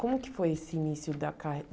Como que foi esse início da